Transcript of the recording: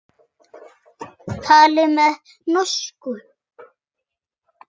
Talið meiri norsku.